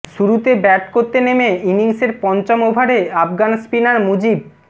শুরুতে ব্যাট করতে নেমে ইনিংসের পঞ্চম ওভারে আফগান স্পিনার মুজিব